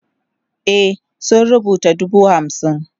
e sun rubuta dubu hamsin